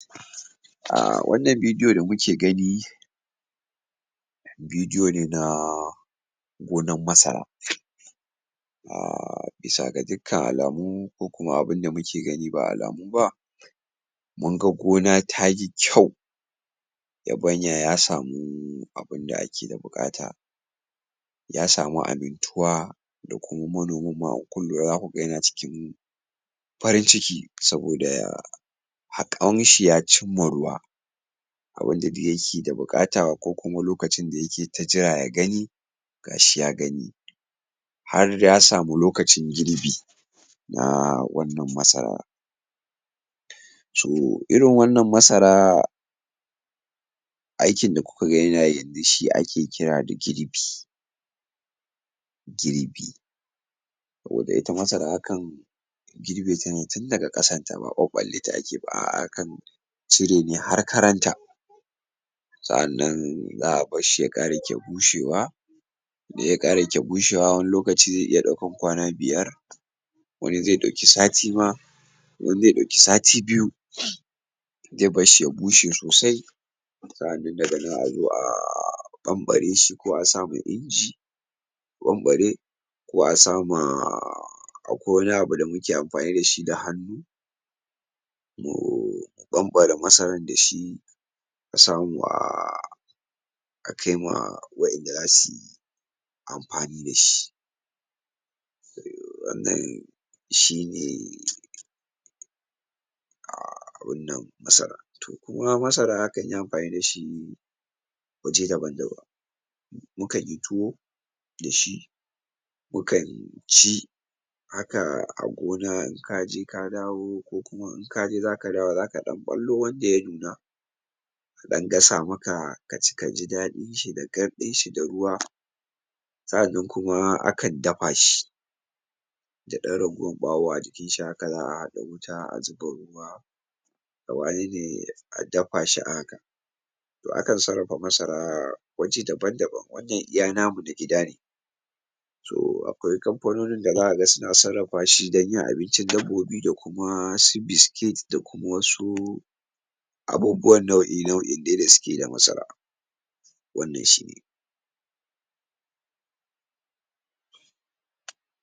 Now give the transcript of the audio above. Ah wannan video da kuke gani video ne na gona masara. Ah bisa ga dukan alamomin kuma abin da muke gani ba alamu ba, mun ga gona ta yi kyau, raɓanya ya samu abin da ake da bukata, ya samu amintuwa da kuma manomin ma. In kun lura zaku ga ya cikin farin ciki saboda ah haƙin shi, ya ce mun ruwa abin da duk yake da bukata ko kuma lokacin da yake ta jira ya gani, gashi ya gani har ya samu lokacin girbi na wannan masara. So irin wannan masara aikin da kuka ga yanayi shi ake kira da girbi. Girbi saboda ita masara akan girbita ne tun daga kasan ta, ba ɓaɓalaita ake yi ba. Ah akan cire ne har karanta, sannan a bar shi ya kara kya bushewa. In ya kara kya bushewa, wani lokaci zai iya ɗaukan kwana biyar, wani zai ɗauke sati ma, wani zai ɗauke sati biyu. Zai bar shi ya bushe sosai sannan daga nan a zo a ɓanɓare shi ko a samu injin ɓanɓare ko a sama ah akwai wani abu da muke amfani da shi da hannu mu ɓanɓara masara da shi kusan ah akai ma waɗanda za su yi amfanin da shi. shi ne ah wannan masara. Toh kuma masara zaku iya amfani da shi wajen dabari, muke yin tuwo da shi, muke yin chi haka. A gona in ka je ka dawo ko kuma in kaje zaka dawo zaka ɗan ɓalo wanda ya nuna ɗan gasa maka ka ce ka ji dadin shi da gardin shi da ruwa. Sannan kuma akan dafa shi da ɗan ragowan ɓawon a jikin shi, haka za’a haɗa wuta a zuba ruwa da wane ne a dafa shi. Akan sarrafa masara waje daban-daban, wannan iya namu na gida ne. Toh akwai kamfanonin da zaka ga suna sarrafa masara shi dan yin abinci dabobi da kuma su biskit da kuma wasu abubuwan nau’i-nau’i da suke yi da masara. Wannan shine.